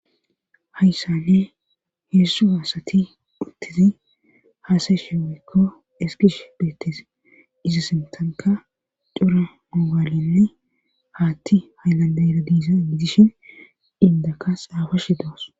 hayssanne hedzdzu asati uttida haasayshe woykko eskish beettes iza sintanka cura mogaalenne haatti haylanda era diisa gidishin indaka xaafashe doos